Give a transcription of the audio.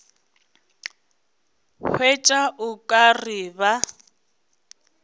hwetša o ka re ba